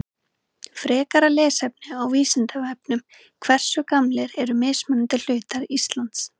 Frekara lesefni á Vísindavefnum Hversu gamlir eru mismunandi hlutar Íslands?